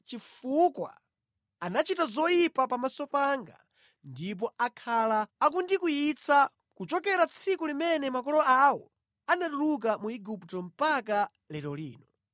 chifukwa anachita zoyipa pamaso panga ndipo akhala akundikwiyitsa kuchokera tsiku limene makolo awo anatuluka mu Igupto mpaka lero lino.’ ”